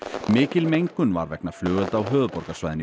mikil mengun var vegna flugelda á höfuðborgarsvæðinu í